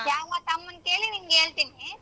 ಯಾವ್ದಕ್ ಅಮ್ಮನ್ ಕೇಳಿ ನಿನ್ಗ್ ಹೇಳ್ತೀನಿ.